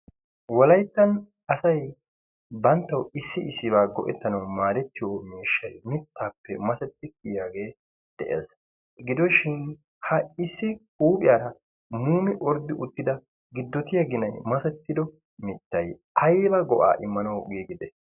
Wolayttan asay banttaw issi issiba go'ettiyo maadetiyo mittappe massetidi giigida miishshay de'ees. gidoshin ha issi huuphiyaara muumi orddi uttida gidotiyaa ginay masetido mittay aybba go'a immanaw giigide?